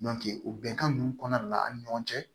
o bɛnkan ninnu kɔnɔna de la an ni ɲɔgɔn cɛ